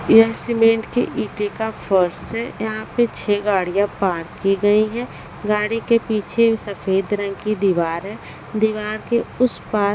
यह सीमेंट के ईंटें का फर्श है यहां पे छह गाड़ियां पार्क की गई हैं गाड़ी के पीछे सफेद रंग की दीवार है दीवार के उस पार--